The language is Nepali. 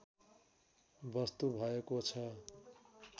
वस्तु भएको छ